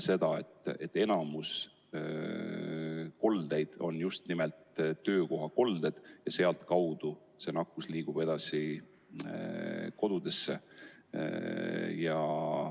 Me näeme, et enamik koldeid on just nimelt töökohakolded ja sealt liigub nakkus edasi kodudesse.